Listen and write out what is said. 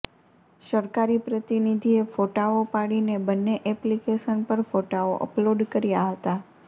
સરકારી પ્રતિનિધિએ ફોટાઓ પાડીને બન્ને એપ્લીકેશન પર ફોટાઓ અપલોડ કર્યા હતા